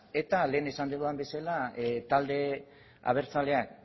eta lehen esan dudan bezala talde abertzaleak